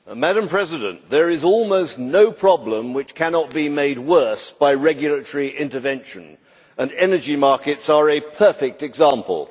Madam President, there is almost no problem which cannot be made worse by regulatory intervention, and energy markets are a perfect example.